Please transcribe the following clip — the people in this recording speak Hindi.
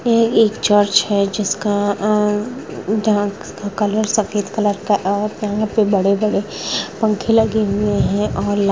ये एक चर्च है जिसका अ--जहाँ --का कलर सफेद कलर का और यहाँ पे बड़े-बड़े पंखे लगे हुए है और--